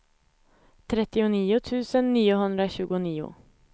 trettionio tusen niohundratjugonio